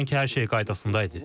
Sanki hər şey qaydasında idi.